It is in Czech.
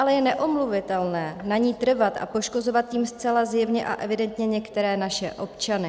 Ale je neomluvitelné na ní trvat a poškozovat tím zcela zjevně a evidentně některé naše občany.